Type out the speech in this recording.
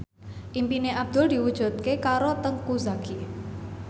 impine Abdul diwujudke karo Teuku Zacky